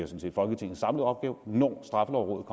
set folketingets samlede opgave når straffelovrådet